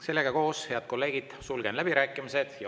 Sellega koos, head kolleegid, sulgen läbirääkimised.